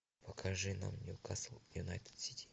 покажи нам ньюкасл юнайтед сити